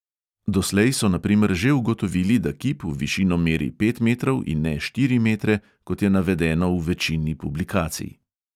Doslej so na primer že ugotovili, da kip v višino meri pet metrov in ne štiri metre, kot je navedeno v večini publikacij.